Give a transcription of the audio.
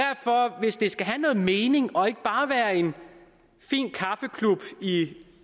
hvis det skal have nogen mening og ikke bare være en fin kaffeklub i